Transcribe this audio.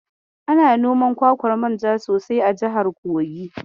Ana noman kwakwar manja sosai a jihar Kogi.